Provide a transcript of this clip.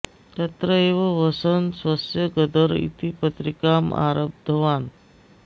तत्र एव वसन् स्वस्य गदर् इति पत्रिकाम् आरब्धवान्